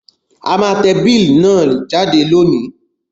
A má te bill náà jáde lónìí